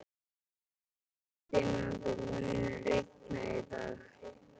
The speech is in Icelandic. Ferdinand, mun rigna í dag?